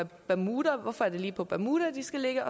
bermuda hvorfor er det lige på bermuda de skal ligge